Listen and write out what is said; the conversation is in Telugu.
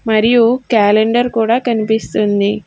మరియు క్యాలెండర్ కూడా కనిపిస్తుంది.